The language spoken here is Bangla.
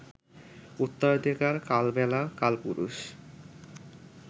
উত্তরাধিকার, কালবেলা, কালপুরুষ